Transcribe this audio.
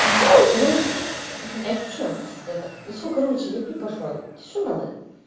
иди нахер а я шучу это все короче я пить пошла тебе что надо